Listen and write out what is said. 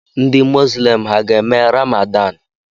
Ndị mosilem ha ga-eme ramadan?